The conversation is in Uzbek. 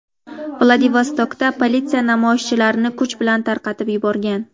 Vladivostokda politsiya namoyishchilarni kuch bilan tarqatib yuborgan.